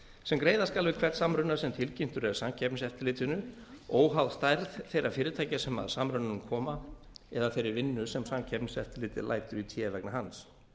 sem greiða skal við hvern samruna sem tilkynntur er samkeppniseftirlitinu óháð stærð þeirra fyrirtækja sem að samrunanum koma eða þeirri vinnu sem samkeppniseftirlitið lætur í té vegna hans